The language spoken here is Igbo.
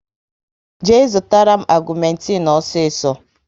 Jee zụtara m agumetin osiso